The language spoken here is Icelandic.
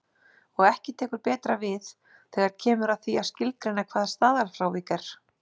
Og ekki tekur betra við þegar kemur að því að skilgreina hvað staðalfrávik er.